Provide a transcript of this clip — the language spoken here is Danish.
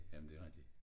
Jamen det rigtig